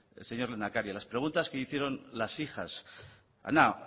señor lehendakari a las preguntas que le hicieron las hijas ana